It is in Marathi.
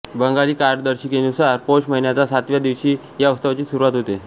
बंगाली कालदर्शिकेनुसार पौष महिन्याच्या सातव्या दिवशी या उत्सवाची सुरुवात होते